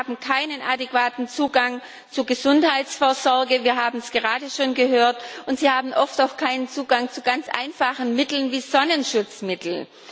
Sie haben keinen adäquaten Zugang zu Gesundheitsvorsorge wir haben es gerade schon gehört und sie haben oft auch keinen Zugang zu ganz einfachen Mitteln wie Sonnenschutzmittel.